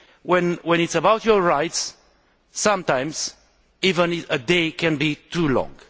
When the issue is your rights, sometimes even a day can be too long.